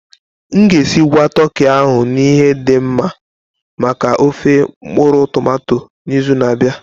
M ga-esigwa toki ahụ na ihe dị mma maka ofé mkpuru-tomato n'izu na-abịa.